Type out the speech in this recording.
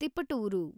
Tiptur